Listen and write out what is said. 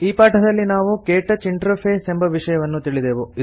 ಈ ಪಾಠದಲ್ಲಿ ನಾವು ಕ್ಟಚ್ ಇಂಟರ್ಫೇಸ್ ಎಂಬ ವಿಷಯವನ್ನು ತಿಳಿದೆವು